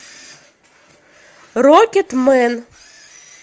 рокетмэн